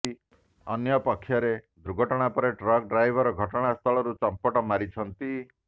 ଅନ୍ୟପକ୍ଷରେ ଦୁର୍ଘଟଣା ପରେ ଟ୍ରକ୍ ଡ୍ରାଇଭର ଘଟଣା ସ୍ଥଳରୁ ଚମ୍ପଟ ମାରିଛନ୍ତି